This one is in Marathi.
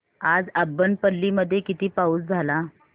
आज अब्बनपल्ली मध्ये किती पाऊस झाला